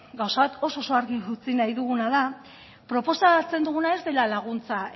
gauza bat oso argi utzi nahi duguna da proposatzen duguna ez dela laguntza